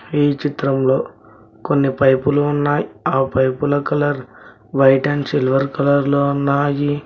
ఈ చిత్రంలో కొన్ని పైపులు ఉన్నాయి ఆ పైపుల colour white and silver colour లో ఉన్నాయి.